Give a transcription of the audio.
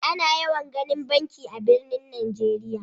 Ana yawan ginin banki a'birnin Nijeriya.